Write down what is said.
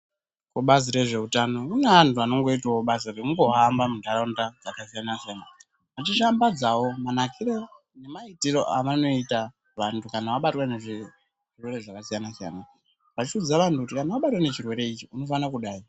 Kubazi rezveutano mune anhu vanongoitawo basa rekungohamba muntaraunda dzakasiyana-siyana, vachishambadzawo manakiro nemaitiro avanoita vantu kana vabatwa nezvirwere zvakasiyana-siyana vachiudza vanhu kuti kana vabatwa nechirwere chakadai vachishambadzawo manakiro nemaitiro avanoita vanhu kana vabatwa ngezvirwere zvakasiyana-siyana vachiudza vanhu kuti kana vabatwa nechirwere ichi unofana kudai.